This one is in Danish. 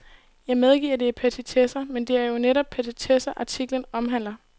Jeg medgiver, det er petitesser, men det er jo netop petitesser, artiklen omhandler.